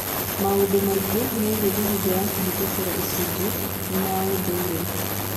Maũndũ maingĩ megiĩ mĩhĩnga ya kũhĩtũkĩra icunjĩ nĩ ma ũndũire.